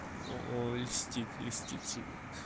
ну льстит льстит себе